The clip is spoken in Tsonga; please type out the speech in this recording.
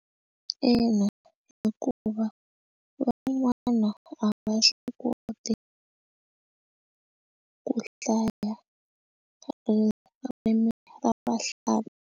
Ina, hikuva van'wana a va swi koti ku hlaya ririmi ra vahla.